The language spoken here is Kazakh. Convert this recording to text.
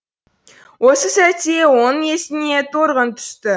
осы сәтте оның есіне торғын түсті